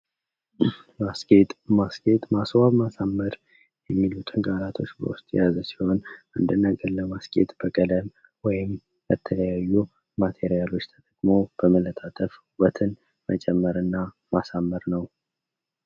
ማስጌጥ ፤ ማስጌጥ ፣ ማስዋብ፣ ማሳመር የሚሉትን ቃላቶች በውስጡ የያዘ ሲሆን አንድን ነገር ለማስጌጥ በከለር ወይም የተለያዩ ማቴሪያሎች ተጠቅሞ በመለጣጠፍ ውበትን መጨመር እና ማሳመር ነው።